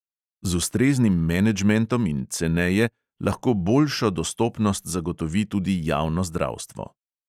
Z ustreznim menedžmentom in ceneje lahko boljšo dostopnost zagotovi tudi javno zdravstvo.